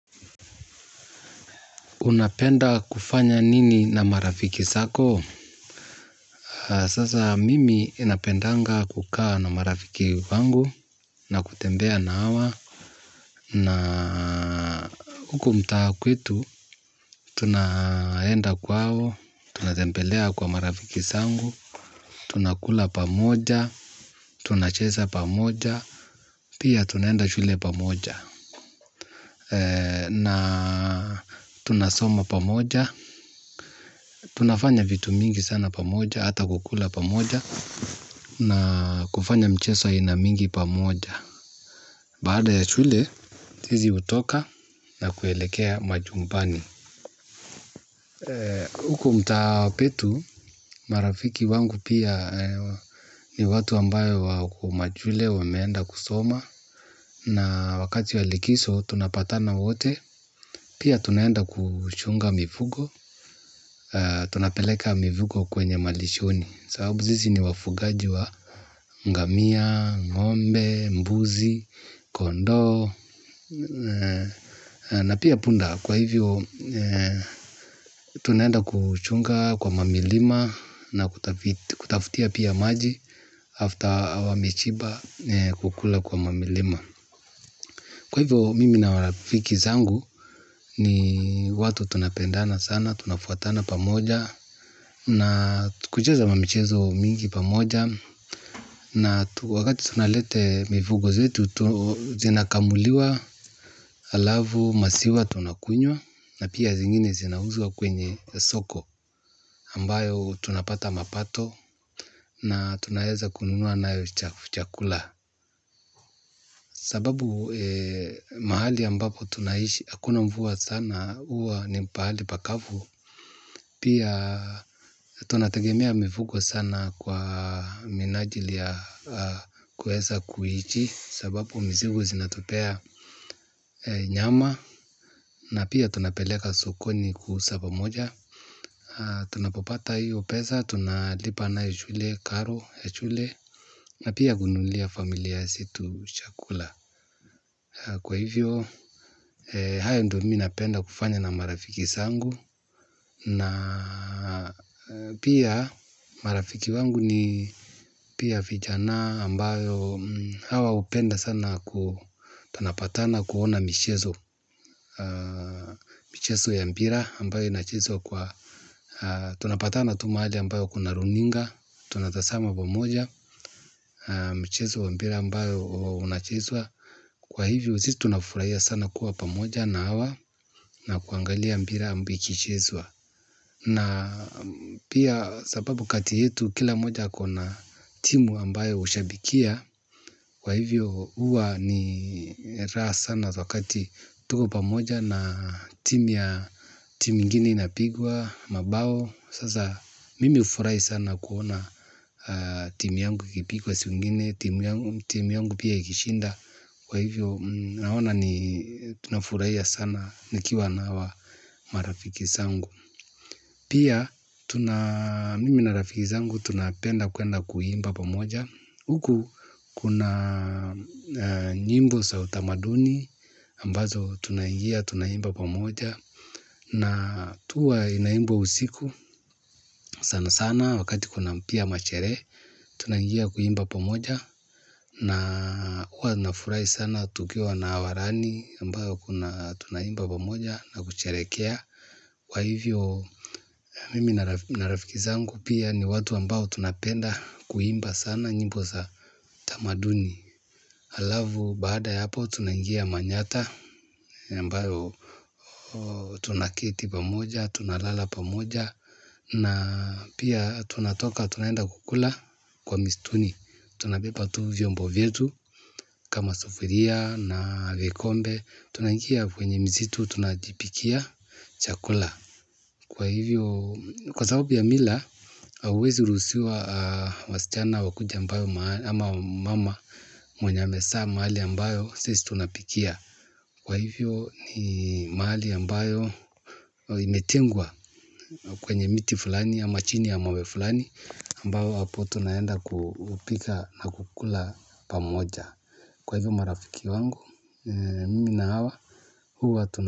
Unapenda kufanya nini na marafiki zako? Sasa mimi ninapendanga kukaa na marafiki wangu na kutembea na hawa. Na huku mtaa kwetu tunaenda kwao tunatembelea kwa marafiki zangu, tunakula pamoja, tunacheza pamoja, pia tunaenda shule pamoja. Na tunasoma pamoja, tunafanya vitu mingi sana pamoja, hata kukula pamoja. Na kufanya mchezo aina mingi pamoja. Baada ya shule, sisi hutoka na kuelekea majumbani. Huku mtaa petu marafiki wangu pia ni watu ambayo wako mashule wameenda kusoma. Na wakati wa likizo, tunapatana wote. Pia tunaenda kuchunga mifugo. Tunapeleka mifugo kwenye malishoni. Sababu sisi ni wafugaji wa ngamia ngombe mbuzi kondoo na pia punda kwa hivyo tunaenda kuchunga kwa ma milima na kutafutia pia maji after wameshiba kukula kwa ma milima. Kwa hivyo mimi na marafiki zangu ni watu tunapendana sana, tunafuatana pamoja na kucheza ma michezo mingi pamoja na wakati tunalete mifugo zetu zinakamuliwa alafu maziwa tunakunywa na pia zingine zinauzwa kwenye soko ambayo tunapata mapato na tunaweza kununua nayo chakula. Sababu mahali ambapo tunaishi hakuna mvua sana huwa ni pahali pakavu pia tunategemea mifugo sana kwa minajali ya kuweza kwa sababu mizigo zinatupea nyama na pia tunapeleka sokoni kwa sababu moja tunapopata hiyo pesa, tunalipa nayo shule karo shule. Na pia kununulia familia zetu chakula. Kwa hivyo haya ndio mimi napenda kufanya na marafiki zangu. Na pia marafiki wangu ni pia vijana ambao hawa hupenda sana tunapatana kuona michezo. Michezo ya mpira ambayo inachezwa kwa tunapatana tu mahali ambayo kuna runinga. Tunatazama pamoja. Michezo ya mpira ambayo unachezwa kwa hivyo sisi tunafurahia sana kuwa pamoja na hawa. Na kuangalia mpira ambiki chezwa na pia sapabu kati yetu kila mmoja ako na timu ambayo hushabikia. Kwa hivyo huwa ni raha sana za wakati tuko pamoja na timu ya timu ingine inapigwa. Mabao, sasa mimi hufurai sana kuona timu yangu ikipigwa siku ingine timu yangu pia ikishinda. Kwa hivyo naona ni tunafurahia sana nikiwa na wa marafiki zangu. Pia mimi na rafiki zangu tunapenda kuenda kuimba pamoja huku kuna nyimbo za utamaduni ambazo tunangia tunangia tunangia pamoja na tuwa inaimbo usiku sana sana wakati kuna pia machele tunangia tunangia kuimba pamoja na huwa nafurahi sana tukiwa na warani ambayo kuna tunaimba tunangia pamoja na kucherekea. Kwa hivyo mimi na rafiki zangu pia ni watu ambao tunapenda kuimba sana nyimbo za tamaduni alafu baada ya hapo tunaingia manyata ambayo tunaketi pamoja, tunalala pamoja. Na pia tunatoka tunaenda kukula kwa mistuni. Tunabeba tu vyombo vyetu kama sufuria na vikombe. Tunaingia kwenye msitu tunajipikia chakula. Kwa hivyo kwa sababu ya mila, hauwezi ruhusiwa wasichana wakuje ambayo ama wamama mwenye amezaa mahali ambayo sisi tunapikia. Kwa hivyo ni mahali ambayo imetengwa kwenye miti fulani ama chini ama wefulani ambayo hapo tunayenda kupika na kukula pamoja. Kwa hivyo marafiki wangu, mimi na hawa, huwa tunapikia.